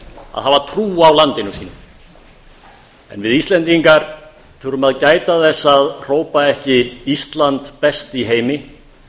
að hafa trú á landinu sínu en við íslendingar þurfum að gæta þess að hrópa ekki ísland best í heimi